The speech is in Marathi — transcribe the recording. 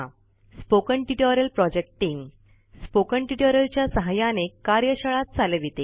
spoken tutorial project team spoken tutorial च्या सहाय्याने कार्यशाळा चालविते